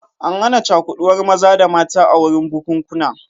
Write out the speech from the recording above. An hana cakuɗuwar maza da mata a wurin bukunkuna